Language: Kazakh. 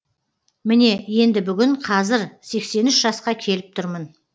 міне енді бүгін қазір сексен үш жасқа келіп тұрмын